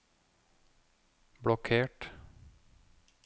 blokkert